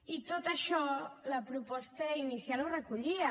i tot això la proposta inicial ho recollia